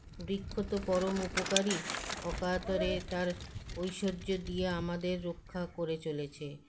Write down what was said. বৃক্ষ তো পরম উপকারী অকাতরে তার ঐশ্বর্য দিয়ে আমাদের রক্ষা করে চলেছে